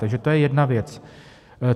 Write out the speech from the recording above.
Takže to je jedna věc.